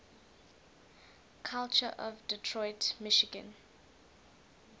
culture of detroit michigan